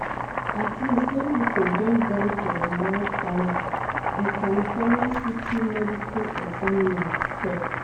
at least ten pipo don die for di wildfires di california city medical examiner tok tok